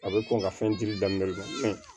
A bɛ kɔn ka fɛn di daminɛ fɛn